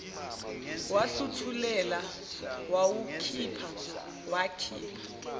wahluthulela wawukhipha wakhipha